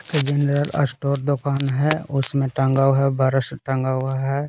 General store दुकान है उसमें टांगा हुआ है बरस टंगा हुआ है।